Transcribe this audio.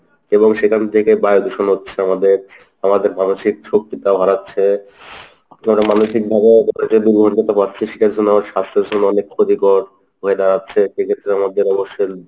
এবং সেখান থেকে বায়ুদূষণ হচ্ছে আমাদের~ আমাদের মানসিক শক্তিটাও হারাচ্ছে আমরা মানসিকভাবে যে দুর্গন্ধটা পাচ্ছি সেটার জন্য আমার স্বাস্থ্যের জন্য অনেক ক্ষতিকর হয়ে দাড়াচ্ছে এক্ষেত্রে আমাদের অবশ্যই